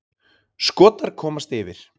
Skotar komast yfir.